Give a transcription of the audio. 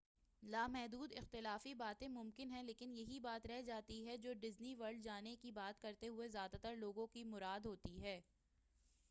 لامحدود اختلافی باتیں ممکن ہیں لیکن یہی بات رہ جاتی ہے جو ڈزنی ورلڈ جانے کی بات کرتے ہوئے زیادہ تر لوگوں کی مراد ہوتی ہے